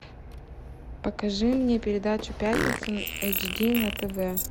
покажи мне передачу пятница эйч ди на тв